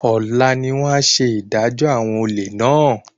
Ọ̀la ni wọ́n á ṣe ìdájọ́ àwọn olè náà.